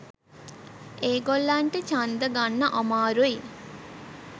ඒගොල්ලන්ට ඡන්ද ගන්න අමාරුයි.